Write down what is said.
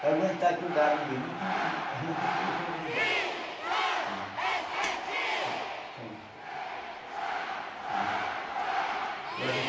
Para aguentar aqui o gado mesmo, a gente não conseguiu fazer ainda. Norbertino